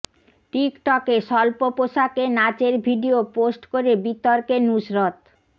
টিকটকে স্বল্প পোশাকে নাচের ভিডিয়ো পোস্ট করে বিতর্কে নুসরত